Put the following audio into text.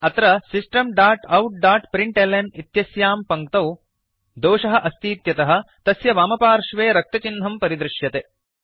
अत्र systemoutप्रिंटल्न इत्यस्यां पङ्क्तौ दोषः अस्तीत्यः तस्य वामपार्श्वे रक्तचिह्नं परिदृश्यते